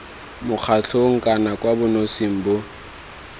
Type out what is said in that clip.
mokgatlhong kana kwa bonosing bo